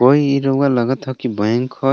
कोई ई रउआ लगत ह कि बैंक हय।